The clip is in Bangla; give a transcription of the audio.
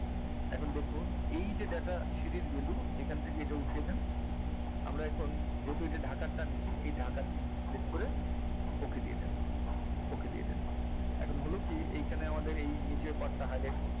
এখন দেখুন এইযে data sheet value এইখান থেকে এইটা উঠিয়ে দেন আমরা এখন যেহেতু এটা ঢাকার টা নিছি এই ঢাকার PIN টা select করে okay দিয়ে দেবেন এখন হলো কি এইখানে আমাদের এই নীচের part টা hide